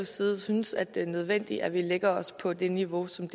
side synes at det er nødvendigt at vi lægger os på det niveau som